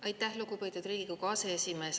Aitäh, lugupeetud Riigikogu aseesimees!